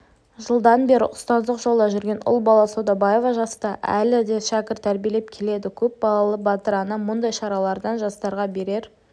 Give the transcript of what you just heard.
жылдан бері ұстаздық жолда жүрген ұлбала саудабаева жаста әлі де шәкірт тәрбиелеп келеді көп балалы батыр ана мұндай шаралардың жастарға берер